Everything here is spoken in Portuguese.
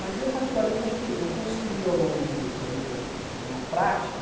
Mas eu, particularmente, acho que eu construí ao longo do da minha da minha prática